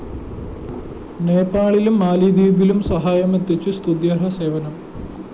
നേപ്പാളിലും മാലിദ്വീപിലും സഹായമെത്തിച്ച് സ്തുത്യര്‍ഹ സേവനം